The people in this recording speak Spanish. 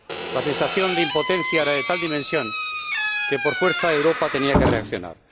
La sensación de impotencia era de tal dimensión que, por fuerza, Europa tenía que reaccionar.